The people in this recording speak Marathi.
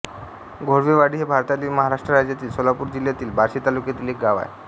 घोळवेवाडी हे भारतातील महाराष्ट्र राज्यातील सोलापूर जिल्ह्यातील बार्शी तालुक्यातील एक गाव आहे